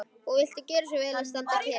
Og viltu gjöra svo vel að standa kyrr.